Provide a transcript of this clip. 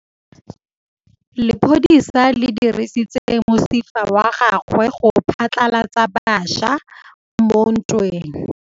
Lepodisa le dirisitse mosifa wa gagwe go phatlalatsa batšha mo ntweng.